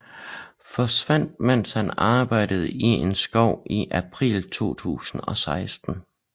Forsvandt mens han arbejdede i en skov i april 2016